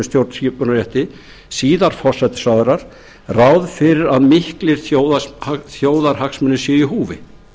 stjórnskipunarrétti síðar forsætisráðherrar ráð fyrir að miklir þjóðarhagsmunir séu í húfi